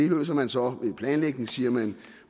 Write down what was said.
løser man så ved planlægning siger man